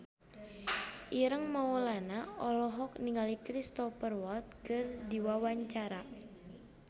Ireng Maulana olohok ningali Cristhoper Waltz keur diwawancara